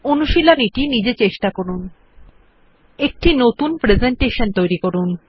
অনুশীলনী টি নিজে চেষ্টা করুন একটি নতুন প্রেসেন্টেশন তৈরী করুন